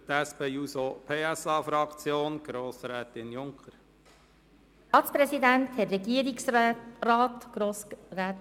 Für die SP-JUSO-PSA-Fraktion spricht Grossrätin Junker.